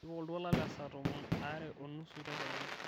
tipika oltuala lesaa tomon aare onusu tedekenya